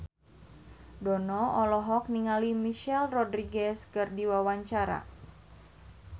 Dono olohok ningali Michelle Rodriguez keur diwawancara